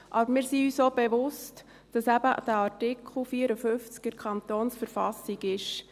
Aber wir sind uns auch bewusst, dass eben den Artikel 54 KV gibt.